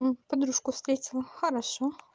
подружку встретила хорошо